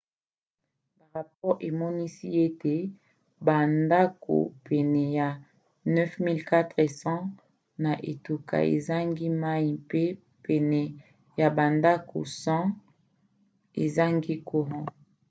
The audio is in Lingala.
barapore emonisi ete bandako pene ya 9400 na etuka ezangi mai mpe pene ya bandako 100 ezangi courant